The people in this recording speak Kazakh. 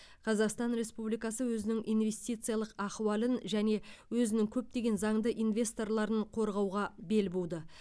қазақстан республикасы өзінің инвестициялық ахуалын және өзінің көптеген заңды инвесторларын қорғауға бел буды